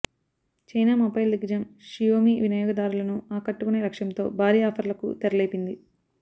China mobile దిగ్గజం Xiaomi వినియోగదారులను ఆకట్టకునే లక్ష్యంతో భారీ ఆఫర్లకు తెరలేపింది